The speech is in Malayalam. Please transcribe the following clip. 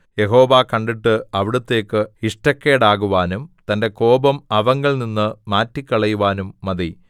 യഹോവ കണ്ടിട്ട് അവിടുത്തേയ്ക്ക് ഇഷ്ടക്കേടാകുവാനും തന്റെ കോപം അവങ്കൽനിന്ന് മാറ്റിക്കളയുവാനും മതി